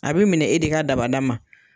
A be minɛ e de ka dabada ma.